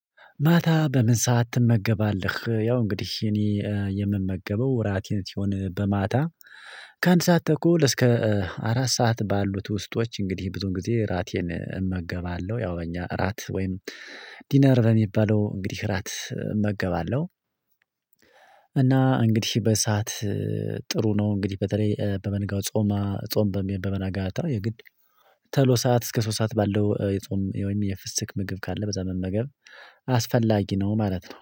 ማታ በምን ሰዓት ትመገባለህ? ያው እንግዲህ እኔ የምመገበው ራቴን ሲሆን በማታ ከአንድ ሰዓት ተኩል እስከ አራት ሰዓት ባሉት ውስጦች እንግዲህ ብዙ ጊዜ እራቴን እመገባለሁ። ያው እኛ እራት ወይም ዲነር በሚባለው እንግዲህ እራት እመገባለሁ። እና እንግዲህ በሰአት ጥሩ ነው። እንግዲህ በተለይ ለተመገ ጾማ ጾም በሚሆን በነገባታው የግድ ተሎ ሰዓት እስከ ሶስት ሰዓት ባለው የጾም ወይም የፍስክ ምግብ ካለ በዛ መመገብ አስፈላጊ ነው። ማለት ነው